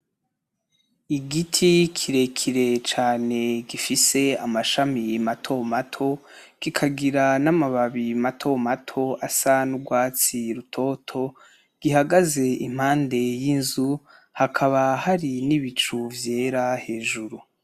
Igiti kirekire cane gifise amashami mato mato kikagira n'amababayi mato mato asa n'urwatsi rutoto gihagaze impande y'inzu hakaba hari n'ibicu vyera hejuru.